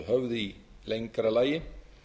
höfð í lengra lagi